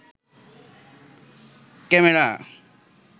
camera